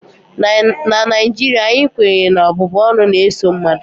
na Naijiria anyị kwenyere na ọbụbụ ọnụ na-eso mmadụ